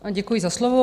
Děkuji za slovo.